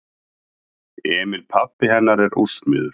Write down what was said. Emil pabbi hennar er úrsmiður.